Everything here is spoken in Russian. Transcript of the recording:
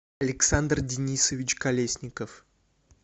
александр денисович колесников